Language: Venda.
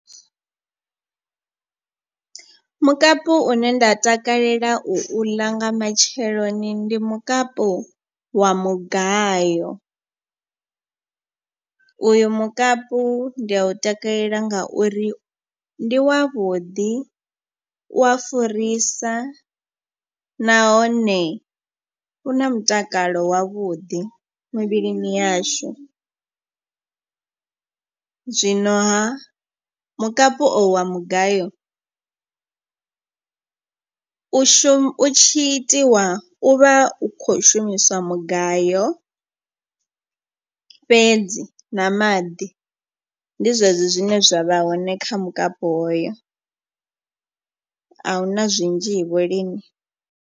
Mukapu une nda takalela u uḽa nga matsheloni ndi mukapu wa mugayo. Uyu mukapu ndi a u takalela ngauri ndi wavhuḓi u ya furisa nahone u na mutakalo wavhuḓi muvhilini yashu. Zwino ha mukapu o wa mugayo u shumi u tshi itiwa u vha u kho shumiswa mugayo fhedzi na maḓi. Ndi zwezwo zwine zwa vha hone kha mukapu hoyo a huna zwinzhi vho lini.